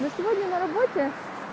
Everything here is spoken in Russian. но сегодня на работе